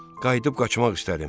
Qayıdıb qaçmaq istədim.